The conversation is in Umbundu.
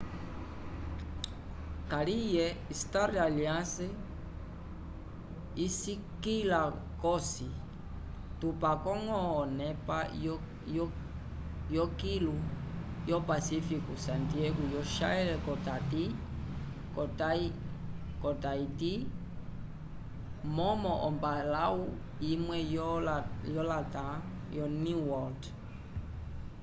kaliye star alliance isikĩla cosi tupako-ñgo onepa yokilu yo-pasifiku santiago yo chile ko taiti momo ombalãwu imwe yo latam oneworld